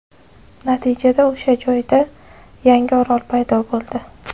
Natijada o‘sha joyda yangi orol paydo bo‘ldi.